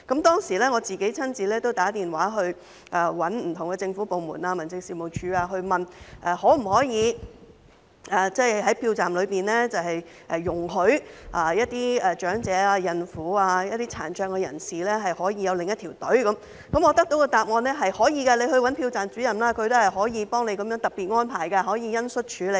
當時我親自致電不同的政府部門和民政事務處，詢問可否在投票站內容許長者、孕婦和殘障人士輪候另一條隊伍，我得到的答案是可以的，投票站主任可以幫助作出特別安排，可以恩恤處理。